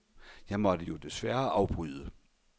Jeg måtte jo desværre afbryde.